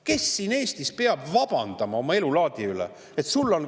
Kes siin Eestis peab vabandama oma elulaadi eest?